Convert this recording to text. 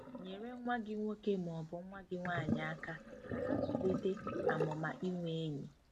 Nyere nwa gị nwoke ma ọ bụ nwa gị nwanyị aka ka ha zụlite ' amụma inwe enyi. '